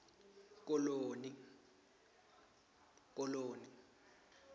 koloni